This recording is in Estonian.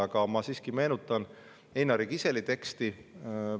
Aga ma siiski meenutan Einari Kiseli teksti.